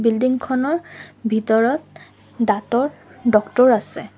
Building খনৰ ভিতৰত দাঁতৰ ডক্তৰ আছে।